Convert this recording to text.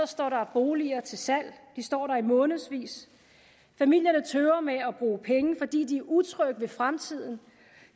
står der boliger til salg de står der i månedsvis familier tøver med at bruge penge fordi de er utrygge ved fremtiden